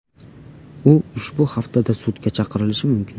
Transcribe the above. U ushbu haftada sudga chaqirilishi mumkin.